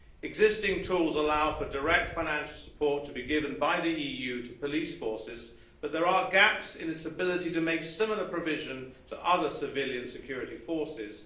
Existing tools allow for direct financial support to be given by the EU to police forces, but there are gaps in its ability to make similar provision to other civilian security forces